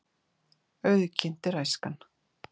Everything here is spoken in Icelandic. Auðginnt er æskan.